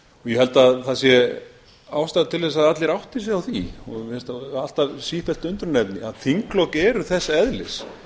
ég held að það sé ástæða til að allir átti sig á því og mér finnst það alltaf sífellt undrunarefni að þinglok eru þess eðlis